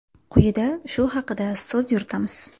Quyida shu haqda so‘z yuritamiz.